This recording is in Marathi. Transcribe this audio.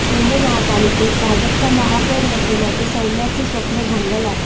मुंबई महापालिकेत भाजपचा महापौर बसवण्याचे सौमय्यांचं स्वप्न भंगल आहे